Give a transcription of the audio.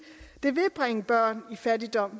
ville bringe børn i fattigdom